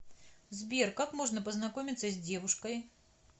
сбер как можно познакомиться с девушкой